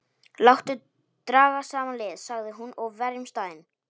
Láttu draga saman lið, sagði hún,-og verjum staðinn.